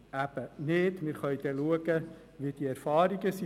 Wir können dann schauen, wie die Erfahrungen sind.